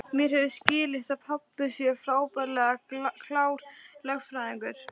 Mér hefur skilist að pabbi sé frábærlega klár lögfræðingur.